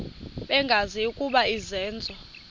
bengazi ukuba izenzo